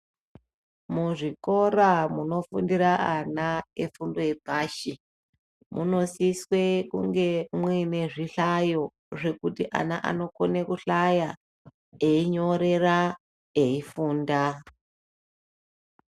Muzvikora munofundira ana efundo yepashi, munosiswe kunge mwuine zvihlayo, zvekuti ana anokone kuhlaya, einyorera, eifunda.